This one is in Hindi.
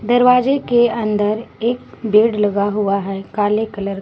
दरवाजे के अंदर एक बेड लगा हुआ है काले कलर --